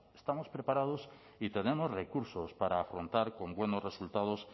estamos preparados y tenemos recursos para afrontar con buenos resultados